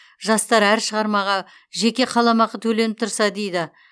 жастар әр шығармаға жеке қаламақы төленіп тұрса дейді